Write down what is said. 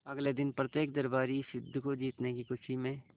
अगले दिन प्रत्येक दरबारी इस युद्ध को जीतने की खुशी में